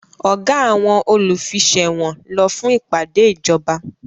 Ọ̀gá àwọn olùfiṣẹ̀wọ̀n lọ fún ìpàdé ìjọba